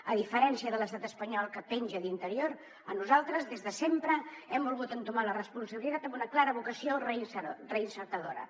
a diferència de l’estat espanyol que penja d’interior nosaltres des de sempre hem volgut entomar la responsabilitat amb una clara vocació reinseridora